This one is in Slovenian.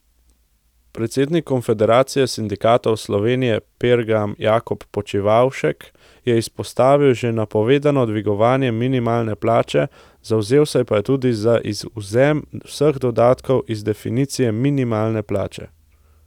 Predsednik Konfederacije sindikatov Slovenije Pergam Jakob Počivavšek je izpostavil že napovedano dvigovanje minimalne plače, zavzel pa se je tudi za izvzem vseh dodatkov iz definicije minimalne plače.